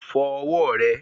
Fọ ọwọ́ rẹ